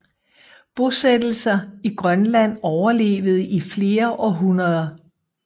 Bosættelser i Grønland overlevede i flere århundreder